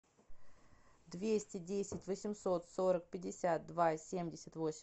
двести десять восемьсот сорок пятьдесят два семьдесят восемь